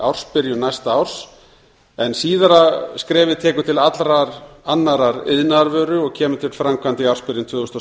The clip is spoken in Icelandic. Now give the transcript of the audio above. ársbyrjun næsta árs en síðara skrefið tekur til allrar annarrar iðnaðarvöru og kemur til framkvæmda í ársbyrjun tvö þúsund og